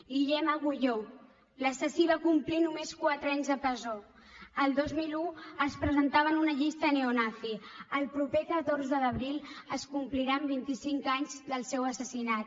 guillem agulló l’assassí va complir només quatre anys de presó el dos mil un es presentava en una llista neonazi el proper catorze d’abril es compliran vint i cinc anys del seu assassinat